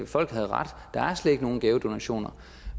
folk havde ret der er slet ikke nogen gavedonationer